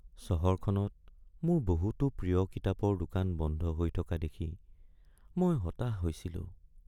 চহৰখনত মোৰ বহুতো প্ৰিয় কিতাপৰ দোকান বন্ধ হৈ থকা দেখি মই হতাশ হৈছিলোঁ।